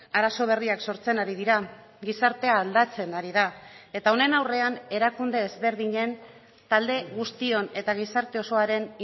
arazo berriak sortzen ari dira gizartea aldatzen ari da eta honen aurrean erakunde ezberdinen talde guztion eta gizarte osoaren